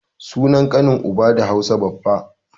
Sunan ƙanin uba da Hausa baffa